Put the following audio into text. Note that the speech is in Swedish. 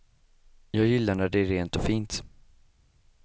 Jag gillar när det är rent och fint.